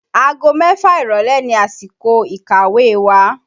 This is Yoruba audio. Ago mẹ́fà ìrọ̀lẹ́ ni àsìkò ìkàwé wa